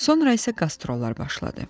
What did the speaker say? Sonra isə qastrollar başladı.